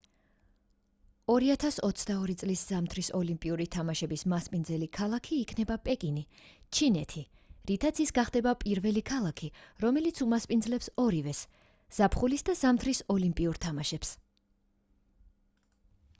2022 წლის ზამთრის ოლიმპიური თამაშების მასპინძელი ქალაქი იქნება პეკინი ჩინეთი რითაც ის გახდება პირველი ქალაქი რომელიც უმასპინძლებს ორივეს ზაფხულის და ზამთრის ოლიმპიურ თამაშებს